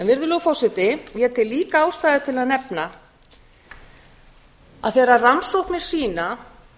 virðulegur forseti ég tel líka ástæðu til að nefna að þegar rannsóknir sýna